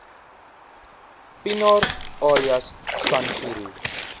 pienaar alias sangiro